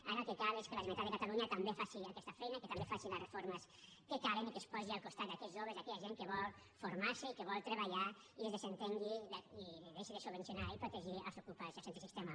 ara el que cal és que la generalitat de catalunya també faci aquesta feina que també faci les reformes que calen i que es posi al costat d’aquells joves aquella gent que vol formar se i que vol treballar i es desentengui i deixi de subvencionar i protegir els ocupes i els antisistema